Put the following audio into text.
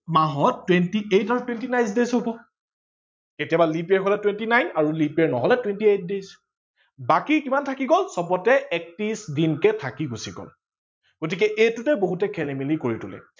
মাহত twenty eight আৰু twenty nine days হব। কেতিয়াবা leap year হলে twenty nine আৰু leap year নহলে twenty eight days বাকী কিমান থাকি গল চবতে একত্ৰিশ দিনকে থাকি গুচি গল গতিকে এইটোতে বহুতে খেলি মেলি কৰি তোলে।